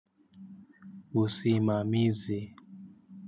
Usimamizi.